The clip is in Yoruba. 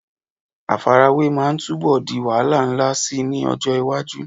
Àfarawé máa túbọ̀ di wàhálà ńlá síi ní ọjọ́ iwájú.